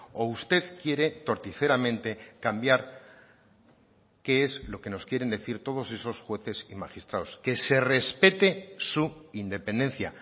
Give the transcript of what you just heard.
o usted quiere torticeramente cambiar qué es lo que nos quieren decir todos esos jueces y magistrados que se respete su independencia